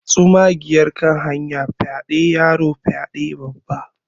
tsumagiyar kan hanya fyaɗe yaro fyaɗe Babba